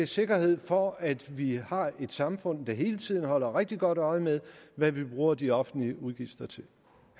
sikkerhed for at vi har et samfund der hele tiden holder rigtig godt øje med hvad vi bruger de offentlige udgifter til